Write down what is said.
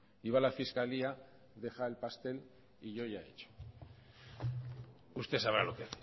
y va a la fiscalía deja el pastel y yo ya he hecho usted sabrá lo que